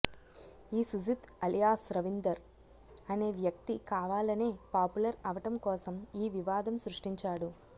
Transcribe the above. ఈ సుజిత్ అలియాస్ రవీందర్ అనే వ్యక్తి కావాలనే పాపులర్ అవటం కోసం ఈ వివాదం సృష్టించాడు